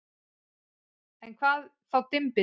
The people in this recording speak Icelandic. En hvað var þá dymbill?